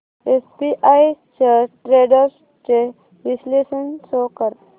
SBI shares trends चे विश्लेषण show कर